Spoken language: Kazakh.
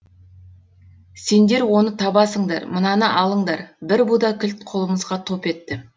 сендер оны табасыңдар мынаны алыңдар бір буда кілт қолымызға топ етті